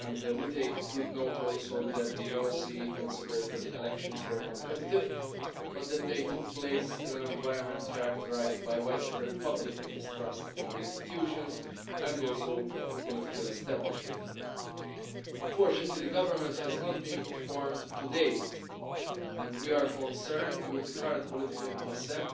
We take good note that the OSCE considers that the elections were competitive, but that they took place in an environment characterised by widespread public mistrust in the institutions and the political establishment. Unfortunately, the government has not been formed to date, and we are concerned at the current political impasse.